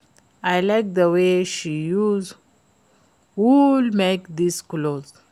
I like the way dey use wool make dis cloth